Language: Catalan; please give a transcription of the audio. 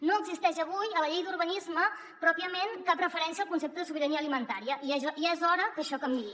no existeix avui a la llei d’urbanisme pròpiament cap referència al concepte de sobirania alimentària i ja és hora que això canviï